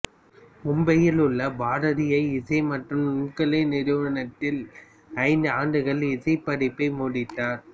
மும்பையில் உள்ள பாரதிய இசை மற்றும் நுண்கலை நிறுவனத்தில் ஐந்து ஆண்டு இசைப் படிப்பை முடித்தார்